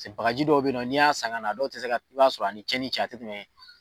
Bagaji dɔw bɛ ye nɔ n'i y'a san ka na a dɔw tɛ se ka i b'a sɔrɔ a ni tiɲɛn ni cɛ a tɛ tɛmɛn.